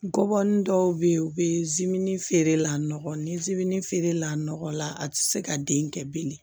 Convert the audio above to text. Ngɔbɔnin dɔw be ye u be feerelaw ni zimini feere la nɔgɔ la a te se ka den kɛ bilen